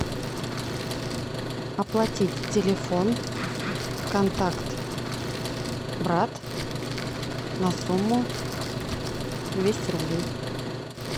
оплатить телефон контакт брат на сумму двести рублей